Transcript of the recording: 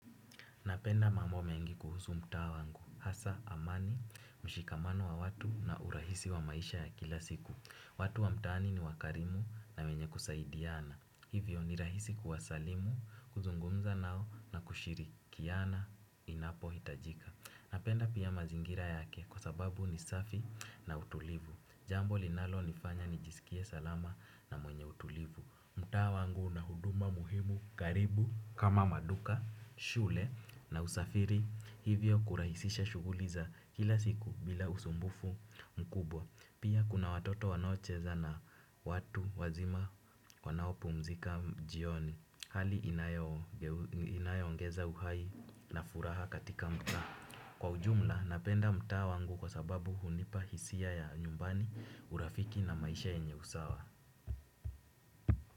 Napenda mambo mengi kuhusu mtaa wangu. Hasa amani, mshikamano wa watu na urahisi wa maisha ya kila siku. Watu wa mtaani ni wakarimu na wenye kusaidiana. Hivyo ni rahisi kuwasalimu, kuzungumza nao na kushirikiana inapo hitajika. Napenda pia mazingira yake kwa sababu ni safi na utulivu. Jambo linalo nifanya ni jisikie salama na mwenye utulivu. Mtawa wangu na huduma muhimu karibu kama maduka, shule. Na usafiri hivyo kurahisisha shughuli za kila siku bila usumbufu mkubwa. Pia kuna watoto wanaocheza na watu wazima wanao pumzika jioni. Hali inayoongeza uhai na furaha katika mtaa. Kwa ujumla napenda mta wangu kwa sababu hunipa hisia ya nyumbani urafiki na maisha yenye usawa.